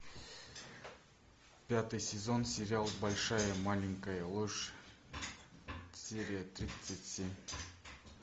пятый сезон сериал большая маленькая ложь серия тридцать семь